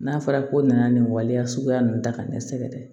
N'a fɔra ko nana nin waleya suguya ninnu ta ka dɛsɛ dɛ